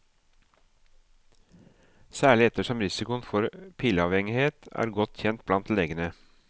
Særlig ettersom risikoen for pilleavhengighet er godt kjent blant legene.